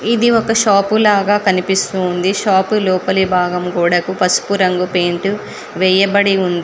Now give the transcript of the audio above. ఇది ఒక షాపు లాగా కనిపిస్తూ ఉంది. షాపు లోపలి భాగం గోడకు పసుపు రంగు పెయింట్ వేయబడి ఉంది.